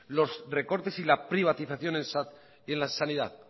los recortes y la privatización en la sanidad